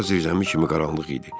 Ora zirzəmi kimi qaranlıq idi.